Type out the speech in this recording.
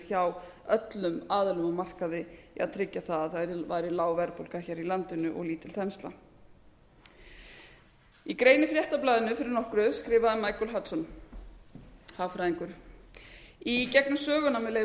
hjá öllum aðilum á markaði að tryggja það að það væri lág verðbólga hér í landinu og lítil þensla í grein í fréttablaðinu fyrir nokkru skrifaði michael hudson hagfræðingur með leyfi